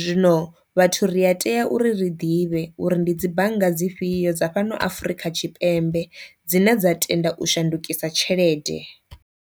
zwino vhathu ri a tea uri ri ḓivhe uri ndi dzi bannga dzifhio dza fhano afrika tshipembe dzine dza tenda u shandukisa tshelede.